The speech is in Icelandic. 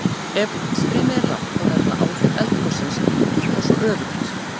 ef útstreymi er lágt þá verða áhrif eldgossins lítil og svo öfugt